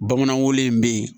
Bamananw bɛ yen